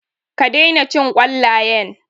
Ka daina cin ƙwallayen.